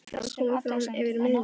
Það var komið fram yfir miðnætti.